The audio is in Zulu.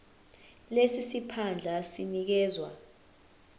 lesi siphandla sinikezwa